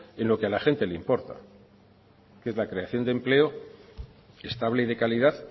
en lo que a la gente le importa que es la creación de empleo estable y de calidad